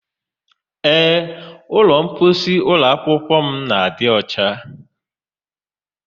Ee, ụlọmposi ụlọakwụkwọ m na-adị ọcha.